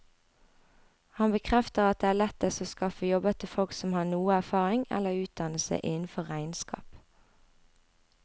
Han bekrefter at det er lettest å skaffe jobber til folk som har noe erfaring eller utdannelse innenfor regnskap.